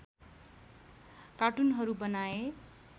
कार्टुनहरू बनाए